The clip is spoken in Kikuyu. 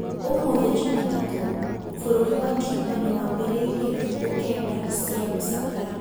ũmũthĩ Jumatatũ, bũrũri wa Cuba nĩambĩrĩrĩtie thukũ kenda cia gũcakaya